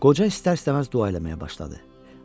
Qoca istər-istəməz dua eləməyə başladı.